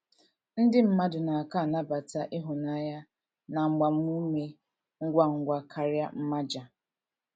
Ndị mmadụ na - aka anabata ịhụnanya na agbamume ngwa ngwa karịa mmaja.